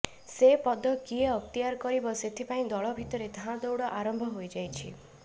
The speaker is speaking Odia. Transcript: ସେ ପଦ କିଏ ଅକ୍ତିଆର କରିବ ସେଥିପାଇଁ ଦଳ ଭିତରେ ଧାଁ ଉଡ଼ ଆରମ୍ଭ ହୋଇ ଯାଇଛି